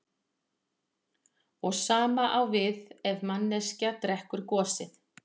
Það sama á við ef manneskja drekkur gosið.